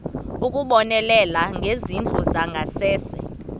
ukubonelela ngezindlu zangasese